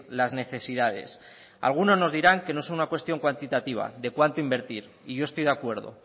las necesidades algunos nos dirán que no es una cuestión cuantitativa de cuánto invertir y yo estoy de acuerdo